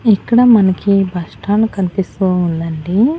ఇక్కడ మనకి బస్టాండ్ కనిపిస్తూ ఉందండి.